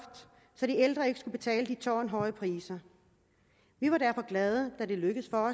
så de ældre ikke skulle betale de tårnhøje priser vi var derfor glade da det lykkedes for